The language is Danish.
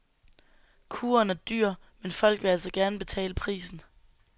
Kuren er dyr, men folk vil altså gerne betale prisen.